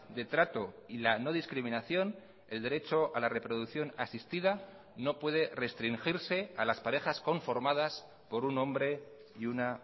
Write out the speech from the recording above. de trato y la no discriminación el derecho a la reproducción asistida no puede restringirse a las parejas conformadas por un hombre y una